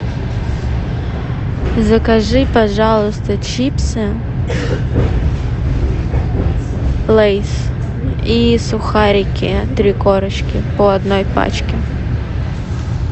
закажи пожалуйста чипсы лейс и сухарики три корочки по одной пачке